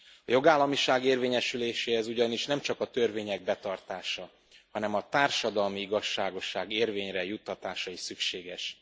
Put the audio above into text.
A jogállamiság érvényesüléséhez ugyanis nem csak a törvények betartása, hanem a társadalmi igazságosság érvényre juttatása is szükséges.